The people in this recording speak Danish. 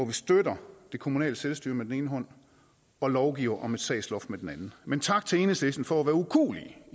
vi støtter det kommunale selvstyre med den ene hånd og lovgiver om sagsloft med den anden men tak til enhedslisten for at være ukuelige